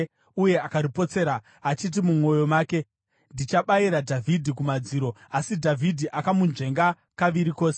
uye akaripotsera, achiti mumwoyo make, “Ndichabayira Dhavhidhi kumadziro.” Asi Dhavhidhi akamunzvenga kaviri kose.